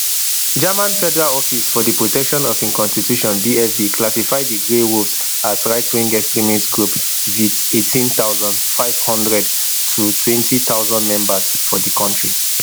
german federal office for di protection of im constitution bfv classify di grey wolves as rightwing extremist group wit eighteen thousand, five hundred to twenty thousand members for di kontri